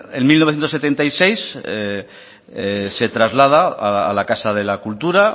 en mil novecientos setenta y seis se traslada a la casa de la cultura